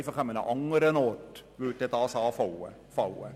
Die Kosten würden sonst einfach an einem anderen Ort anfallen.